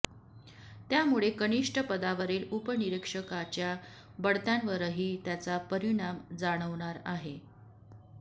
त्यामुळे कनिष्ठ पदावरील उपनिरीक्षकाच्या बढत्यांवरही त्याचा परिणाम जाणवणार आहे